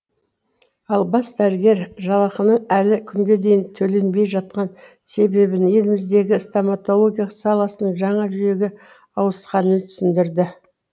ал бас дәрігер жалақының әлі күнге дейін төленбей жатқан себебін еліміздегі стамотология саласының жаңа жүйеге ауысқанымен түсіндірді